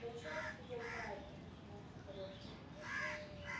да чёрт её знает отмахнулся хорёк